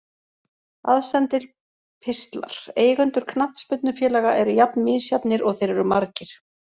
Aðsendir pistlar Eigendur knattspyrnufélaga eru jafn misjafnir og þeir eru margir.